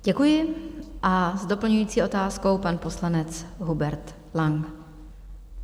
Děkuji a s doplňující otázkou pan poslanec Hubert Lang.